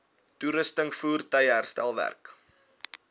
toerusting voertuie herstelwerk